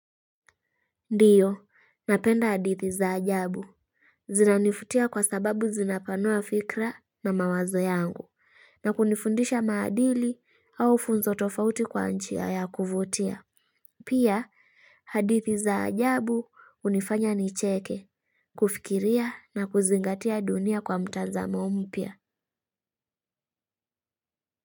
Ndiyo, napenda hadithi za ajabu. Zinanivutia kwa sababu zinapanua fikra na mawazo yangu, na kunifundisha maadili au funzo tofauti kwa njia ya kuvutia. Pia, hadithi za ajabu hunifanya nicheke, kufikiria na kuzingatia dunia kwa mtazamo mpya.